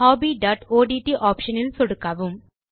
hobbyஒட்ட் option இல் சொடுக்கவும்